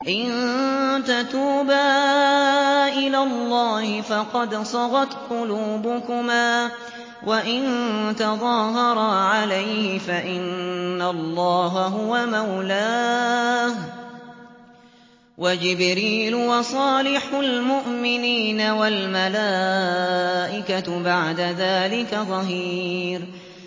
إِن تَتُوبَا إِلَى اللَّهِ فَقَدْ صَغَتْ قُلُوبُكُمَا ۖ وَإِن تَظَاهَرَا عَلَيْهِ فَإِنَّ اللَّهَ هُوَ مَوْلَاهُ وَجِبْرِيلُ وَصَالِحُ الْمُؤْمِنِينَ ۖ وَالْمَلَائِكَةُ بَعْدَ ذَٰلِكَ ظَهِيرٌ